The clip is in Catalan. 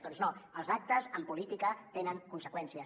doncs no els actes en política tenen conseqüències